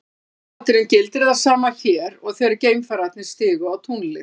Í aðalatriðum gildir það sama hér og þegar geimfararnir stigu á tunglið.